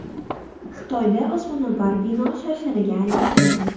Xitoyda osmono‘par bino sharsharga aylantirildi .